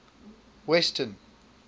western